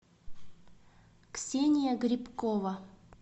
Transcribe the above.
ксения грибкова